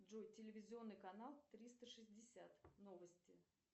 джой телевизионный канал триста шестьдесят новости